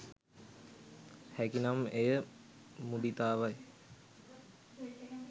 හැකි නම් එය මුදිතාවයි.